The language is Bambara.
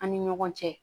An ni ɲɔgɔn cɛ